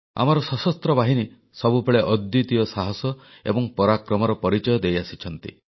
ଆମର ସଶସ୍ତ୍ର ବାହିନୀ ସବୁବେଳେ ଅଦ୍ୱିତୀୟ ସାହସ ଏବଂ ପରାକ୍ରମର ପରିଚୟ ଦେଇଆସିଛନ୍ତି